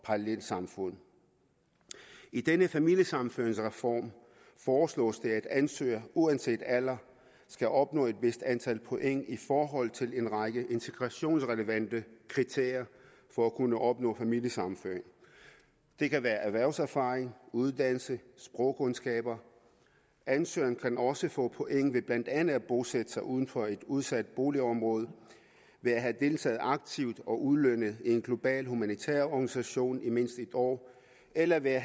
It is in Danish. parallelsamfund i denne familiesammenføringsreform foreslås det at ansøgere uanset alder skal opnå et vist antal point i forhold til en række integrationsrelevante kriterier for at kunne opnå familiesammenføring det kan være erhvervserfaring uddannelse og sprogkundskaber ansøgeren kan også få point ved blandt andet at bosætte sig uden for et udsat boligområde ved at have deltaget aktivt og ulønnet i en global humanitær organisation i mindst en år eller ved at